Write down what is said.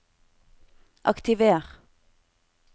aktiver